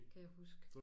Kan jeg huske